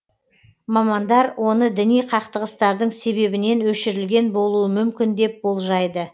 мамандар оны діни қақтығыстардың себебінен өшірілген болуы мүмкін деп болжайды